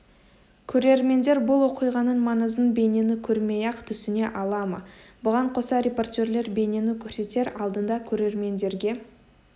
көрермендер бұл оқиғаның маңызын бейнені көрмей-ақ түсіне ала ма бұған қоса репортерлер бейнені көрсетер алдында көрермендерге